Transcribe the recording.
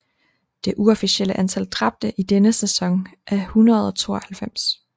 Det uofficielle antal dræbte i denne sæson er 192